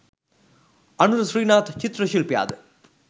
අනුර ශ්‍රීනාත් චිත්‍ර ශිල්පියාද